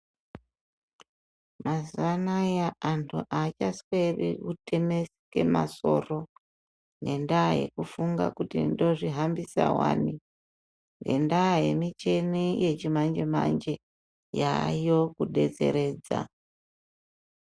Mazuwaanaya antu achasweri kutemeke masoro, ngendaa yekufunga kuti ndozvihambisa wani, ngendaa yemichini yechimanje-manje, yayo kudetseredza.